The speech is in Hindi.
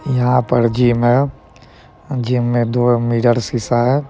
यहां पर जिम है जीम में दो मिरर शिशा है ।